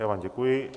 Já vám děkuji.